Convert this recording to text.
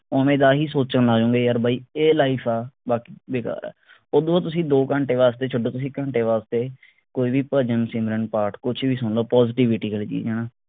ਓਵੇਂ ਦਾ ਹੀ ਸੋਚਣ ਲੱਗ ਜਾਂਦੇ ਯਾਰ ਬਾਈ ਇਹ life ਆ ਬਾਕੀ ਬੇਕਾਰ ਆ ਓਦੂੰ ਬਾਅਦ ਤੁਸੀਂ ਦੋ ਘੰਟੇ ਵਾਸਤੇ ਛੱਡੋ ਤੁਸੀਂ ਘੰਟੇ ਵਾਸਤੇ ਕੋਈ ਵੀ ਭਜਨ ਸਿਮਰਨ ਪਾਠ ਕੁਛ ਵੀ ਸੁਨ ਲੋ positivity ਮਿਲਦੀ ਹਣਾ